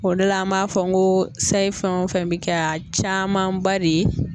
O de la an m'a fɔ n ko sayi fɛn o fɛn bɛ kɛ a camanba de ye